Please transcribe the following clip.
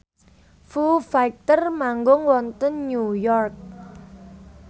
Foo Fighter manggung wonten New York